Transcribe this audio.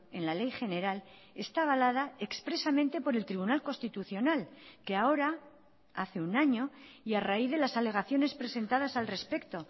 en la ley general está avalada expresamente por el tribunal constitucional que ahora hace un año y a raíz de las alegaciones presentadas al respecto